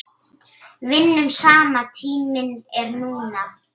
Vinnum saman Tíminn er núna.